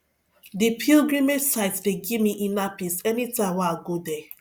di pilgrimage site dey give me inner peace anytime wey i go there